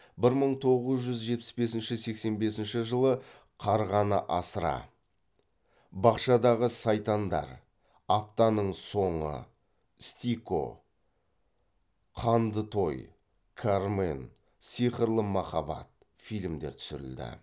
бір мың тоғыз жүз жетпіс бесінші сексен бесінші жылы қарғаны асыра бақшадағы сайтандар аптаның соңы стико қанды той кармен сиқырлы махаббат фильмдер түсірілді